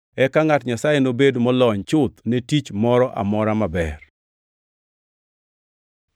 eka ngʼat Nyasaye obed molony chuth ne tich moro amora maber.